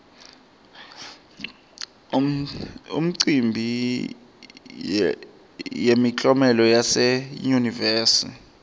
imicimbi yemiklomelo yase yunivesi